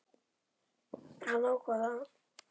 Hann ákvað það.